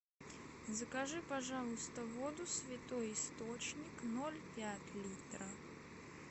закажи пожалуйста воду святой источник ноль пять литра